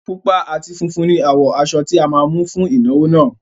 Pupa àti funfun ni àwọ̀ aṣọ tí a máa mú fún ìnáwó náà